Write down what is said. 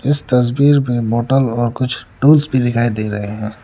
इस तस्वीर में बोतल और कुछ टूल्स भी दिखाई दे रहे हैं।